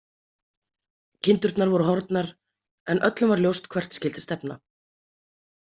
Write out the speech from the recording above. Kindurnar voru horfnar, en öllum var ljóst hvert skyldi stefna.